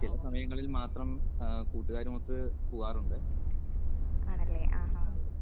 ചില സമയങ്ങളിൽ മാത്രം ആഹ് കൂട്ടുകാരുമൊത്ത് പോവാറുണ്ട്. അതെ അതെ.